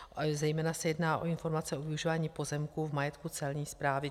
Zejména se jedná o informace o využívání pozemku v majetku Celní správy.